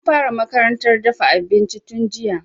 Na fara makarantar dafa abinci tun jiya